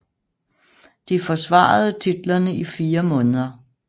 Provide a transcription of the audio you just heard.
De forsvarede titlerne i 4 måneder